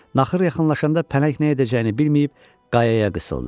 Naxır yaxınlaşanda pələng nə edəcəyini bilməyib qayaya qısıldı.